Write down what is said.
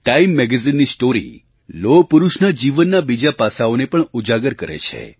TimeMagazineની story લોહપુરુષના જીવનનાં બીજાં પાસાંઓને પણ ઉજાગર કરે છે